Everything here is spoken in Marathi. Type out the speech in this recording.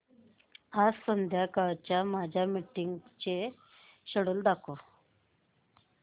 आज संध्याकाळच्या माझ्या मीटिंग्सचे शेड्यूल दाखव